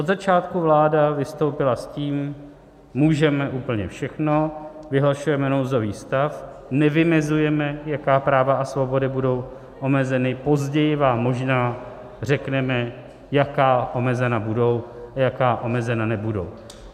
Od začátku vláda vystoupila s tím: můžeme úplně všechno, vyhlašujeme nouzový stav, nevymezujeme, jaká práva a svobody budou omezeny, později vám možná řekneme, jaká omezena budou a jaká omezena nebudou.